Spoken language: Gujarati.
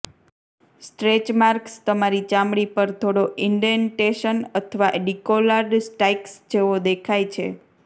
સ્ટ્રેચ માર્કસ તમારી ચામડી પર થોડો ઇન્ડેન્ટેશન અથવા ડિકોલાર્ડ સ્ટાઈક્સ જેવો દેખાય છે